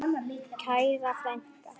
Kæra frænka.